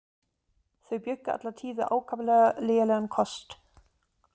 Þau bjuggu alla tíð við ákaflega lélegan kost.